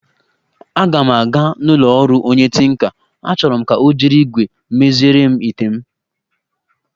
Aga m aga n'ụlọ ọrụ onye tinka, achoro m ka ọ jiri igwé meziere m ite m